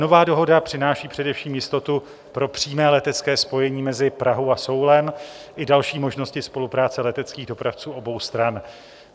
Nová dohoda přináší především jistotu pro přímé letecké spojení mezi Prahou a Soulem i další možnosti spolupráce leteckých dopravců obou stran.